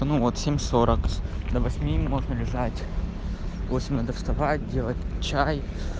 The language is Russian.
ну вот семь сорок до восьми можно лежать в восемь надо вставать делать чай